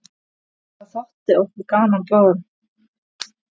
Það þótti okkur báðum gaman.